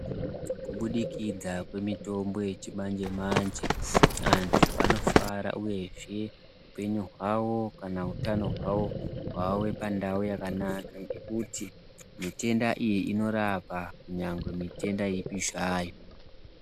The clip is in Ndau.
Kubudikidza kwemitombo yechimanje manje antu anofara uyezve upenyu hwavo kana utano hwavo hwave pandau yakanaka ngekuti mitombo iyi inorapa nyangwe mitenda ipi zvayo